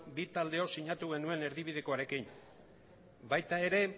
bi taldeok sinatu genuen erdibidekoarekin baita ere